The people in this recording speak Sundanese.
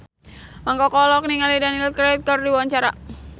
Mang Koko olohok ningali Daniel Craig keur diwawancara